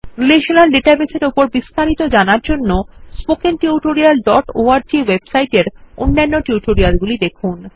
relational database এর উপর বিস্তারিত জানার জন্যে spokentutorialঅর্গ ওয়েবসাইট এর অন্যান্য টিউটোরিয়ালগুলি দেখুন